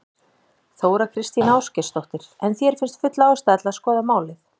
Þóra Kristín Ásgeirsdóttir: En þér finnst full ástæða til að skoða málið?